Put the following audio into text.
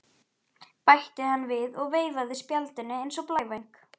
bætti hann við og veifaði spjaldinu eins og blævæng.